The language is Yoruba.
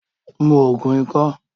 Mu Ògùn ikọ́!